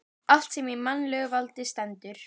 Allt sem í mannlegu valdi stendur.